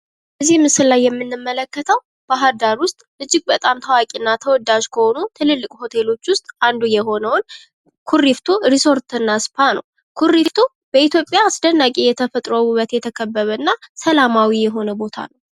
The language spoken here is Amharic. ከዚህ ምስል ላይ የምንመለከተው ባህር ዳር ዉስጥ እጅግ በጣም ታዋቂና ተወዳጂ ከሆኑት ትልልቅ ሆቴሎች ውስጥ አንዱ የሆነው ኩሪፍቱ ሪዞርት እና ስፍራ ነው። ኩሪፍቱ በኢትዮጵያ አስደናቂ የተፈጥሮ ዉበት የተከበበ እና ሰላማዊ የሆነ ቦታ ነው።